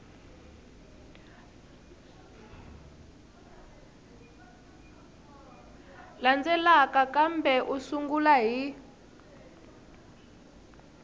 landzelaka kambe u sungula hi